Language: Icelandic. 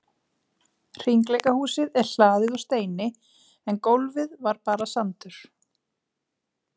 Hringleikahúsið er hlaðið úr steini en gólfið var bara sandur.